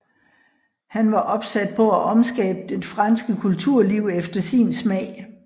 Han var opsat på at omskabe det franske kulturliv efter sin smag